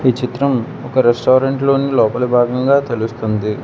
ఈ చిత్రం ఒక రెస్టారెంట్ లోని లోపలి భాగంగా తెలుస్తుంది.